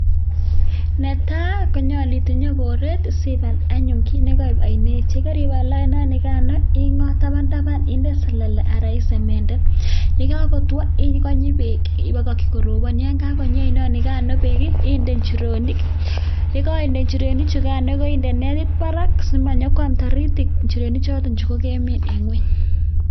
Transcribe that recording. Netai koyache itinye boret anyun nekaib ainet yegaribal ainet nikano ingot tabntaban ak selele anan isemendet yekakoywa ikany konyi bek akibakaki korobon ayikakonui bek aino nikano bek inde injirenik yikainde injirenik chukano inde netit Barak simanyo kwam taritik injirenik choton chekikemin en ngweny